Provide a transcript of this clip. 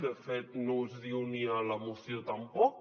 de fet no es diu ni a la moció tampoc